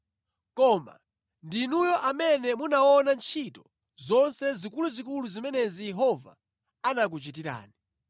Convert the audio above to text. Koma ndinuyo amene munaona ntchito zonse zikuluzikulu zimenezi Yehova anakuchitirani.